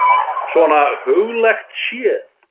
Svona huglægt séð.